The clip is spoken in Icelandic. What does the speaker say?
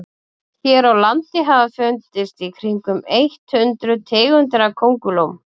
hér á landi hafa fundist í kringum eitt hundruð tegundir köngulóa